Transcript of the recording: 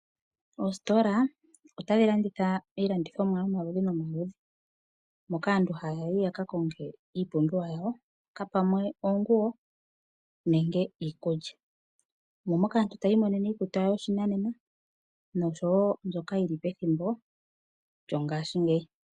Oositola itadhi landitha iilandithomwa yomaludhi nomaludhi moka aantu haya yi ya ka konge iipumbiwa yawo, ngiika pamwe oonguwo nenge iikulya. Omo moka aantu taya imonene iikutu yawo yopashinanena noshowo mbyoka yi li pethimbo lyawo.